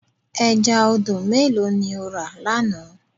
Ẹja odò mélòó ni o rà lánàá?